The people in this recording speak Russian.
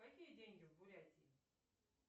какие деньги в бурятии